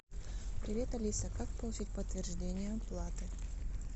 привет алиса как получить подтверждение оплаты